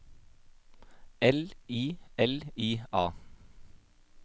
L I L I A